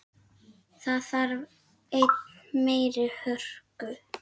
Það þarf enn meiri hörku!